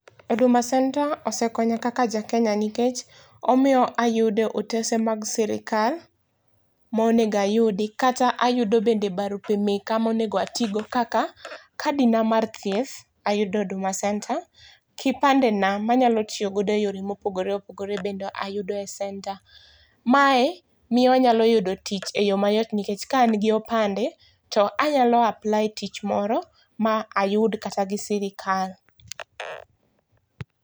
Huduma centre osekonya kaka jakenya nikech omiyo ayudo otese mag sirkal monego ayudi kata ayudo bende barupe meka monego atigo kaka kadi na mar thieth ayudo Hduma centre, kipande na manyalo tiyo go e yore mopogore opogore bende ayudo e senta, mae miyo anyalo yudo tich e yoo mayot nikech ka an gi opande to anyalo apply tich moro ma ayud kata gi sirikal